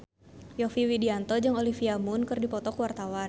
Yovie Widianto jeung Olivia Munn keur dipoto ku wartawan